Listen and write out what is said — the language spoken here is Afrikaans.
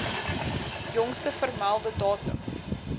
jongste vermelde datum